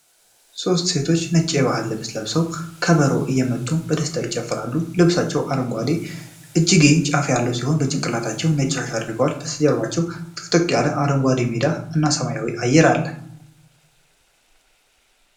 ሦስት ሴቶች ነጭ የባህል ልብስ ለብሰው ከበሮ እየመቱ በደስታ ይጨፍራሉ። ልብሳቸው አረንጓዴ የእጅጌ ጫፍ ያለው ሲሆን በጭንቅላታቸው ነጭ ሻሽ አድርገዋል። በስተጀርባ ጥቅጥቅ ያለ አረንጓዴ ሜዳ እና የሰማይ አየር አለ።